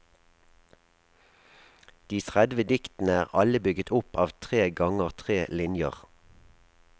De tredve diktene er alle bygget opp av tre ganger tre linjer.